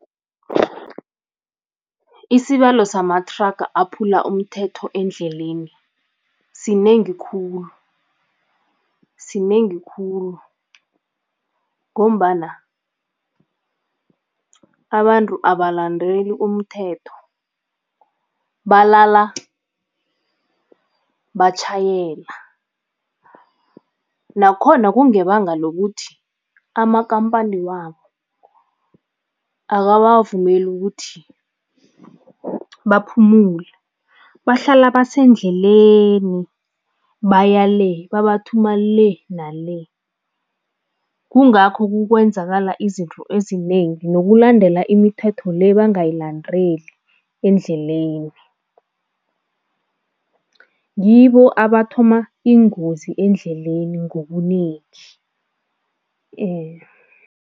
Isibalo samathraga aphula umthetho endleleni sinengi khulu sinengi khulu ngombana abantu abalandeli umthetho, balala batjhayela nakhona kungebanga lokuthi amakhamphani wabo akabavumeli ukuthi baphumule, bahlala basendleleni baya le, babathuma le nale. Kungakho kukwenzakala izinto ezinengi, nokulandela imithetho le bangayilandeli endleleni, ngibo abathoma iingozi endleleni ngobunengi